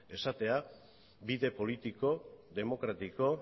esatea bide politiko demokratiko